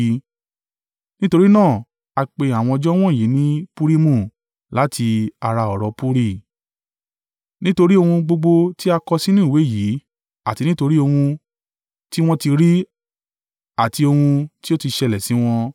(Nítorí náà a pe àwọn ọjọ́ wọ̀nyí ní Purimu, láti ara ọ̀rọ̀ puri). Nítorí ohun gbogbo tí a kọ sínú ìwé yìí àti nítorí ohun tí wọ́n ti rí àti ohun tí ó ti ṣẹlẹ̀ sí wọn,